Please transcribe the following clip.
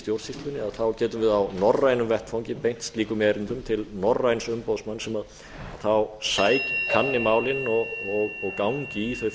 stjórnsýslunni þá getum við á norrænum vettvangi beint slíkum erindum til norræns umboðsmanns sem kanni málin og gangi í þau